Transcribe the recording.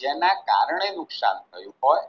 જેના કારણે નુકશાન થયું હોય